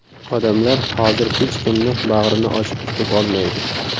Odamlar hozir hech kimni bag‘rini ochib kutib olmaydi.